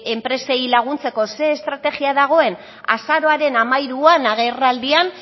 enpresei laguntzeko zer estrategia dagoen azaroaren hamairuan agerraldian